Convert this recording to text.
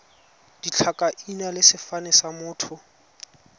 ditlhakaina le sefane sa motho